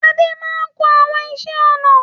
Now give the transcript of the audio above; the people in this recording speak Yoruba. Adé máa ń kun àwọn iṣẹ́-ọnà.